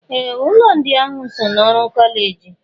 Ee! Ụlọ ndị ahụ so n'ọrụ kọleji.